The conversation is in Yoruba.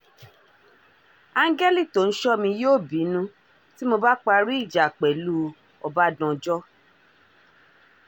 áńgẹ́lì tó ń ṣọ́ mi yóò bínú tí mo bá parí ìjà pẹ̀lú ọbadànjọ́